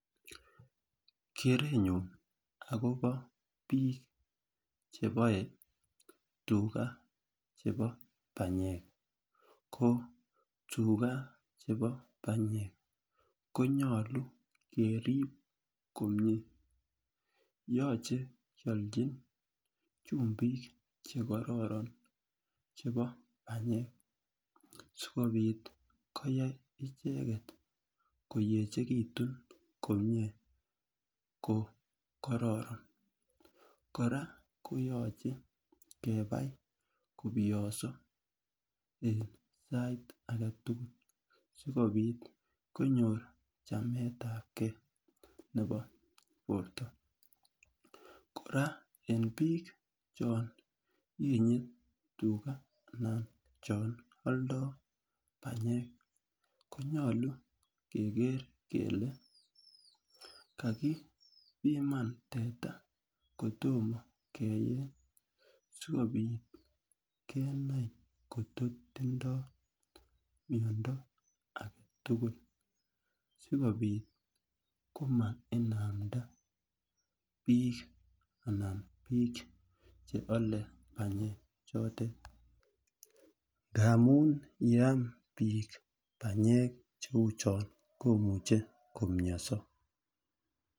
Kerenyun akobo bik chebole tugaa chebo panyek ko tugaa chebo panyek konyilu keripto komie yoche kiolchin chekororon chebo panyek sikopit koyai icheket koyechekitun komie ko kororon. Koraa koyoche kebai kobiyoso en sait agetutuk sikopit konyor chametagee nebo borto, koraa en bik choyenye tugaa anan chon oldo panyek konyilu kegeer kele kakipiman teta kotomo keyeny sikopit kenai koyo tindo miondo agetutuk sikopit komainamda bik anan bik chebole panyek choto ngamun yeam bik panyek chotet komuche komioso.